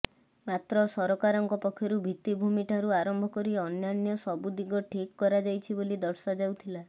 ମାତ୍ର ସରକାରଙ୍କ ପକ୍ଷରୁ ଭିତ୍ତିଭୂମିଠାରୁ ଆରମ୍ଭ କରି ଅନ୍ୟାନ୍ୟ ସବୁ ଦିଗ ଠିକ୍ କରାଯାଇଛି ବୋଲି ଦର୍ଶାଯାଉଥିଲା